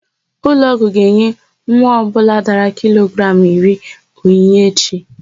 Ụlọọgwụ ga-enye nwa ọbụla dara kilogramụ iri onyinye echi.